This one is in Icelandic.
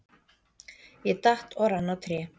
Ég datt og rann á tré.